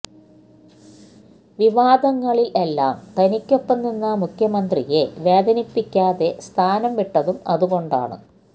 വിവാദങ്ങളിൽ എല്ലാം തനിക്കൊപ്പം നിന്ന മുഖ്യമന്ത്രിയെ വേദനിപ്പിക്കാതെ സ്ഥാനം വിട്ടതും അതുകൊണ്ടാണ്